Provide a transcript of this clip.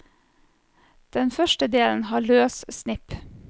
Den første delen har løs snipp.